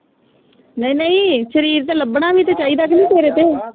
ਨਹੀਂ ਨਹੀਂ ਸ਼ਰੀਰ ਤੇ ਲਬਣਾ ਵੀ ਤੇ ਚਾਹੀਦਾ ਕ ਨੀ ਤੇਰੇ ਤੇ